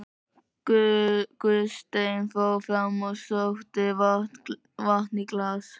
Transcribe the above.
Gunnsteinn fór fram og sótti vatn í glas.